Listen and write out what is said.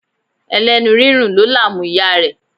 Ẹlẹ́nu rírùn ló làmú ìyá rẹ̀.